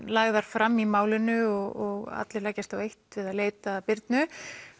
lagðar fram í málinu og allir leggjast á eitt við að leita að Birnu